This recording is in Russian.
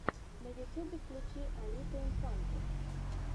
на ютюбе включи алиту инфанту